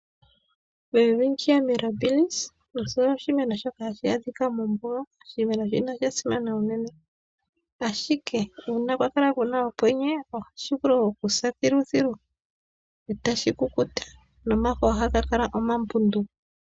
O-Welwitschia mirabilis oshimeno shoka hashi adhika mombuga, oshimenonshika osha simana unene. Oha shi vulu okusa nomafo eta ganingi omambundu.